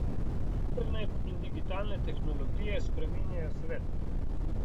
Internet in digitalne tehnologije spreminjajo svet.